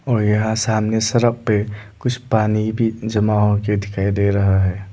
और यहां सामने सड़क पे कुछ पानी भी जमा हो के दिखाई दे रहा है।